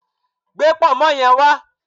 Gbé pọ̀nmọ́ yen wá